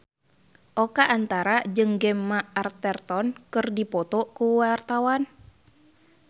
Oka Antara jeung Gemma Arterton keur dipoto ku wartawan